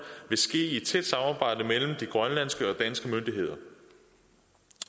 vil ske i et tæt samarbejde mellem de grønlandske og danske myndigheder